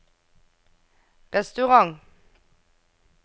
restaurant